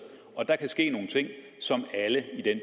og der kan ske nogle ting som alle i den